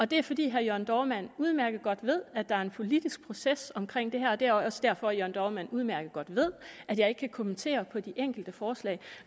det er fordi herre jørn dohrmann udmærket godt ved at der er en politisk proces omkring det her og det er også derfor jørn dohrmann udmærket godt ved at jeg ikke kan kommentere på de enkelte forslag